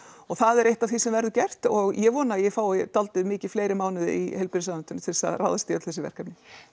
það er eitt af því sem verður gert og ég vona ég fái dálítið mikið fleiri mánuði í heilbrigðisráðuneytinu til þess að ráðast í öll þessi verkefni